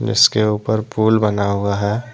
इसके ऊपर पुल बना हुआ है।